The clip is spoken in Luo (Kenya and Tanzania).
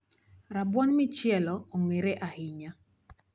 Rabuon michielo ong'ere ahinya